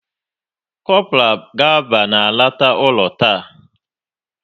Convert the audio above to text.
Kopral Gaba na-alọta ụlọ taa